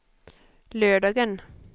lördagen